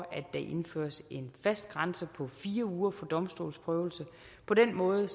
at der indføres en fast grænse på fire uger for domstolsprøvelse på den måde